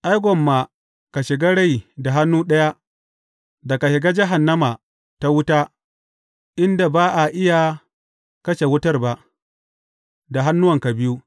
Ai, gwamma ka shiga rai da hannu ɗaya, da ka shiga jahannama ta wuta, inda ba a iya kashe wutar ba, da hannuwanka biyu.